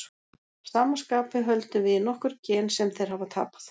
Að sama skapi höldum við í nokkur gen sem þeir hafa tapað.